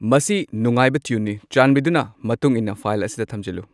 ꯃꯁꯤ ꯅꯨꯡꯉꯥꯏꯕ ꯇ꯭ꯌꯨꯟꯅꯤ ꯆꯥꯟꯕꯤꯗꯨꯅ ꯃꯇꯨꯡ ꯏꯟꯅ ꯐꯥꯏꯜ ꯑꯁꯤꯗ ꯊꯝꯖꯤꯜꯂꯨ